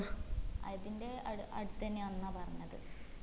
അതിന്റെ അട് അടുത്തെന്നേ അന്നാ പറഞ്ഞത്